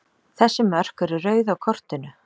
Þessi mörk eru rauð á kortinu.